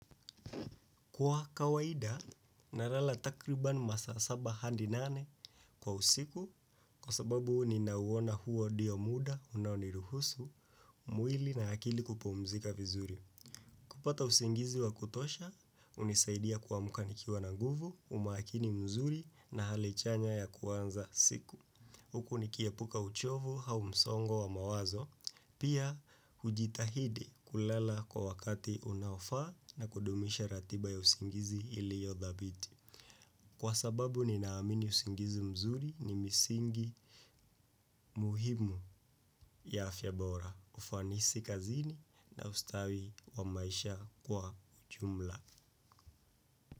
Kwa kawaida, nalala takriban masaa saba hadi nane kwa usiku kwa sababu ni nauwona huo dio muda unaniruhusu, mwili na akili kupumzika vizuri. Kupata usingizi wa kutosha, unisaidia kuamuka nikiwa na guvu, umakini mzuri na hali chanya ya kuanza siku. Huku nikiepuka uchovu au msongo wa mawazo, pia hujitahidi kulala kwa wakati unaofaa na kudumisha ratiba ya usingizi iliyodhabiti. Kwa sababu ninaamini usingizi mzuri ni misingi muhimu ya afya bora, ufanisi kazini na ustawi wa maisha kwa uchumla.